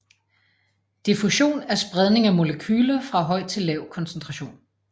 Diffusion er spredning af molekyler fra høj til lav koncentration